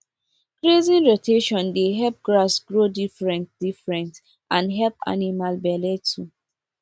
grazing rotation dey help grass grow differentdifferent and help animals belle too